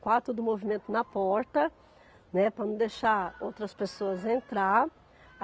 Quatro do movimento na porta, né, para não deixar outras pessoas entrar.